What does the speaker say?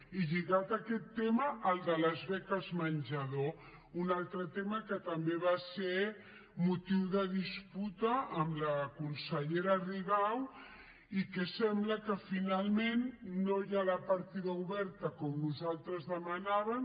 i lligat a aquest tema el de les beques menjador un altre tema que també va ser motiu de disputa amb la consellera rigau i que sembla que finalment no hi ha la partida oberta com nosaltres demanàvem